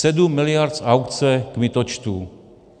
Sedm miliard z aukce kmitočtů.